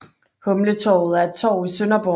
Humletorvet er et torv i Sønderborg